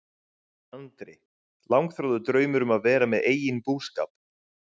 Andri: Langþráður draumur að vera með eigin búskap?